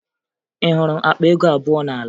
Ị hụrụ akpa ego abụọ n'ala?